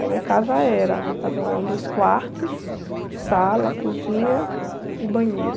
Aí minha casa era, minha casa era um, dois quartos, sala, cozinha e banheiro.